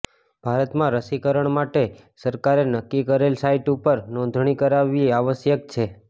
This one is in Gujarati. ભારતમાં રસીકરણ માટે સરકારે નક્કી કરેલ સાઈટ ઉપર નોંધણી કરાવવી આવશ્યક છે